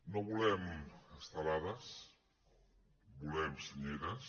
no volem estelades volem senyeres